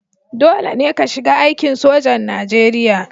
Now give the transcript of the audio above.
Dole ne ka shiga aikin sojan Najeriya